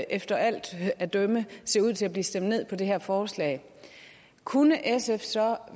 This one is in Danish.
efter alt at dømme ser ud til at blive stemt ned på det her forslag kunne sf så